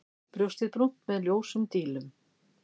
Brjóstið brúnt með ljósum dílum.